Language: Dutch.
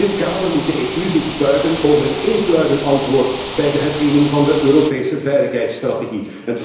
In dit kader moet de EU zich buigen over een eensluidend antwoord bij de herziening van de Europese veiligheidsstrategie.